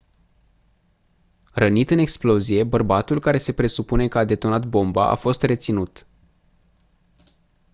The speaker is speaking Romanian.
rănit în explozie bărbatul care se presupune că a detonat bomba a fost reținut